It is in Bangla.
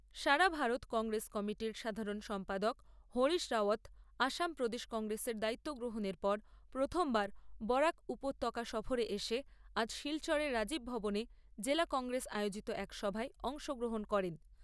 সারা ভারত কংগ্রেস কমিটির সাধারণ সম্পাদক হরিশ রাওয়াত আসাম প্রদেশ কংগ্রেসের দায়িত্ব গ্রহণের পর প্রথমবার বরাক উপত্যকা সফরে এসে আজ শিলচরের রাজীব ভবনে জেলা কংগ্রেস আয়োজিত এক সভায় অংশগ্রহণ করেন।